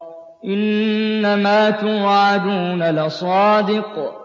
إِنَّمَا تُوعَدُونَ لَصَادِقٌ